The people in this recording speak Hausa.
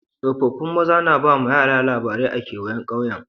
Tsofaffin maza na ba ma yara labarai a'kewayen kauyen.